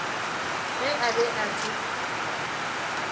ge a be a se